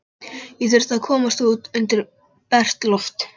Ég þurfti að komast út undir bert loft.